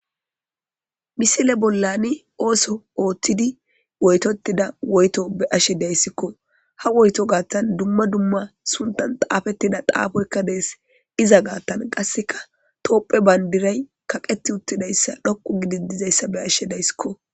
Misiley bolani ootho oothidine woytotida woyto be'ashe days ha woyto gathan dumma dumma sinthan xaafetiza xaafoyka des iza gatha qase tophiya bandira dhoqu gidi kaqetidaysa beyashe daysiko